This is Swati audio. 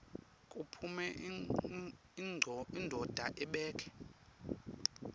kuphume indvodza ibheke